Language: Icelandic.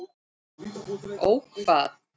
Ó hvað?